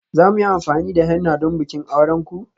Za mu yi amfani da henna don bikin auren ku?